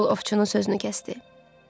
Meybl ovçunun sözünü kəsdi.